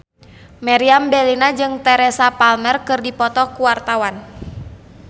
Meriam Bellina jeung Teresa Palmer keur dipoto ku wartawan